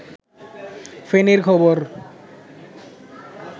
ফেনীর খবর